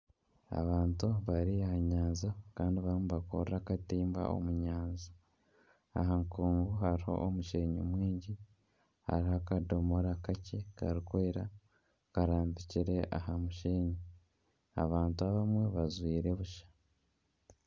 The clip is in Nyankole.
Abantu bari aha nyanja Kandi barumu nibakurra akatimba omu nyanja . Aha nkungu haruho omushenyi mwingyi haruho akadomora kakye karikwera karambikire aha mushenyi . Abantu abamwe bajwire busha.